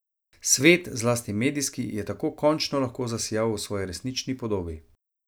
Svet, zlasti medijski, je tako končno lahko zasijal v svoji resnični podobi.